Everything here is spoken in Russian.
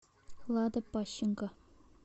лада пащенко